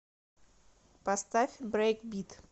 поставь брейкбит